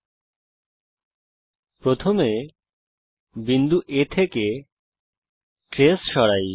চলুন প্রথমে বিন্দু A থেকে ট্রেস সরাই